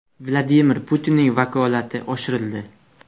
Vladimir Putinning vakolati oshirildi .